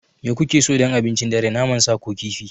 Me kuke so don abincin dare, naman sa ko kifi?